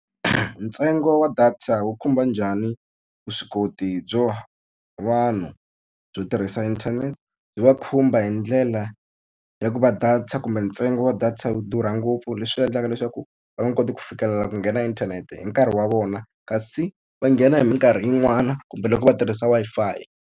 Ntsengo wa data wu khumba njhani vuswikoti byo vanhu byo tirhisa inthanete? Byi va khumba hi ndlela ya ku va data ta kumbe ntsengo wa data yi durha ngopfu leswi endlaka leswaku va nge koti ku fikelela ku nghena inthanete hi nkarhi wa vona. Kasi va nghena hi minkarhi yin'wana kumbe loko va tirhisa Wi-Fi.